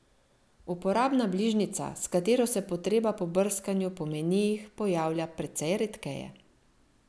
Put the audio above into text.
Uporabna bližnjica, s katero se potreba po brskanju po menijih pojavlja precej redkeje.